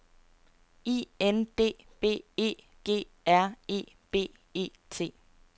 I N D B E G R E B E T